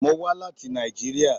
Mo wa lati Nàìjíríà.